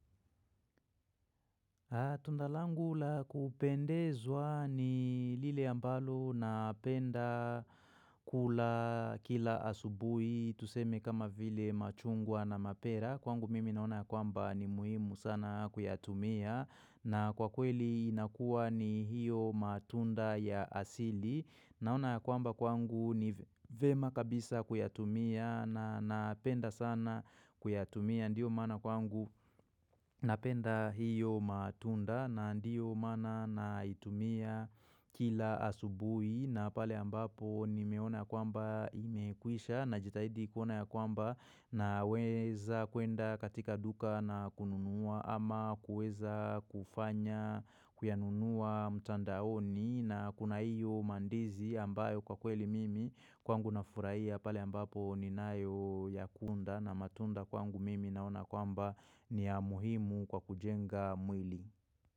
Tunda langu la kupendezwa ni lile ambalo unapenda kula kila asubuhi tuseme kama vile machungwa na mapera. Kwangu mimi naona kwamba ni muhimu sana kuyatumia na kwa kweli inakuwa ni hiyo matunda ya asili. Naona ya kwamba kwangu ni vyema kabisa kuyatumia na napenda sana kuyatumia. Ndiyo maana kwangu napenda hiyo matunda na ndiyo maana na itumia kila asubuhi. Na pale ambapo nimeona kwamba imekwisha najitahidi kuona ya kwamba naweza kuenda katika duka na kununua. Ama kuweza kufanya kuyanunua mtandaoni na kuna iyo mandizi ambayo kwa kweli mimi kwangu na furahia pale ambapo ni nayo ya kunda na matunda kwangu mimi naona kwamba ni ya muhimu kwa kujenga mwili.